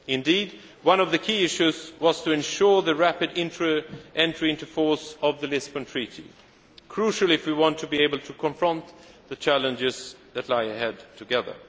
Indeed, one of the key issues was to ensure the rapid entry into force of the Lisbon Treaty, which is crucial if we want to be able to confront the challenges that lie ahead together.